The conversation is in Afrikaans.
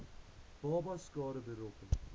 babas skade berokken